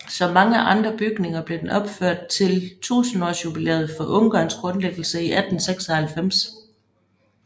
Som mange andre bygninger blev den opført til tusindårsjubilæet for Ungarns grundlæggelse i 1896